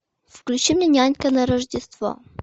включи мне нянька на рождество